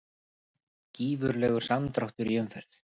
Gífurlegur samdráttur í umferð